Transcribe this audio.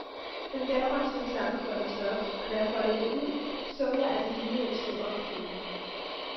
Han gav mig et stykke sammenfoldet stof, og da jeg foldede det ud, så jeg, at det lignede en slåomkjole.